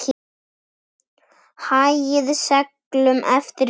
Hagaði seglum eftir vindi.